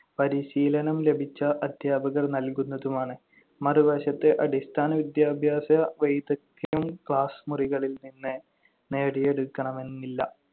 പരിശീലനം ലഭിച്ച അധ്യാപകർ നൽകുന്നതുമാണ്. മറുവശത്ത്, അടിസ്ഥാന വിദ്യാഭ്യാസ വൈദഗ്ധ്യം class മുറികളിൽ നിന്ന് നേടിയെടുക്കണമെന്നില്ല,